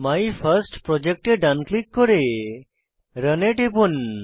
my first project এ ডান click করে রান এ টিপুন